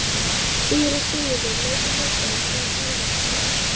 Síra Sigurður leit á hópinn frá Torfastöðum.